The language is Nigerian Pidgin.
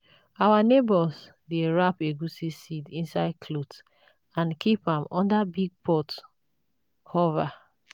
our neighbours dey wrap egusi seeds inside cloth and keep am under big pot cover.